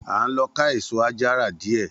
A ń lo ká èsó ajara dìé.